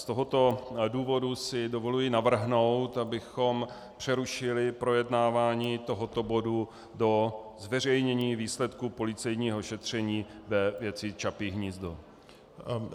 Z tohoto důvodu si dovoluji navrhnout, abychom přerušili projednávání tohoto bodu do zveřejnění výsledků policejního šetření ve věci Čapí hnízdo.